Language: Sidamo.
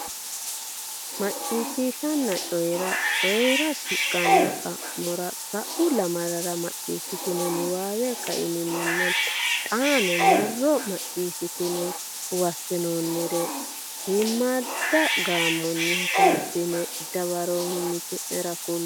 Macciishshanna Coyi ra Coyi ra shiqqino xa mo sa u lamalara macciishshitini niwaawe kaiminninna xaano marro macciishshitine huwaattinoonnire shiimmadda gaamonni hasaabbine dawaro mimmiti nera kulle.